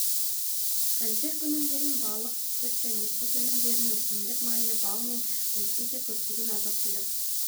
консерві өнімдерін балық сүт және сүт өнімдерін өсімдік майы бал мен өзге де көптеген азық-түлік